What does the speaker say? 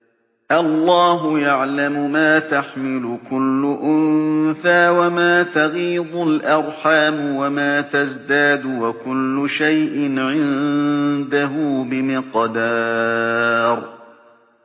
اللَّهُ يَعْلَمُ مَا تَحْمِلُ كُلُّ أُنثَىٰ وَمَا تَغِيضُ الْأَرْحَامُ وَمَا تَزْدَادُ ۖ وَكُلُّ شَيْءٍ عِندَهُ بِمِقْدَارٍ